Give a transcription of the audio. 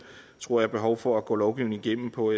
tror jeg behov for at gå lovgivningen igennem på